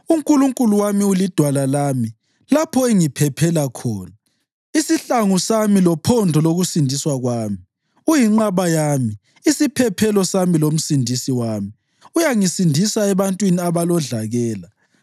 uNkulunkulu wami ulidwala lami, lapho engiphephela khona, isihlangu sami lophondo lokusindiswa kwami. Uyinqaba yami, isiphephelo sami lomsindisi wami uyangisindisa ebantwini abalodlakela.